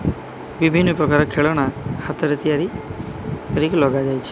ବିଭିନ୍ନ ପ୍ରକାର ଖେଳନା ହାତରେ ତିଆରି କରୀକି ଲଗାଯାଇଚି।